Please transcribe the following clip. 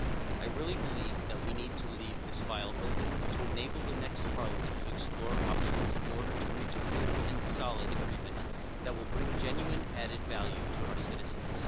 I really believe that we need to leave this file open, to enable the next Parliament to explore options in order to reach a good and solid agreement that will bring genuine added value to our citizens.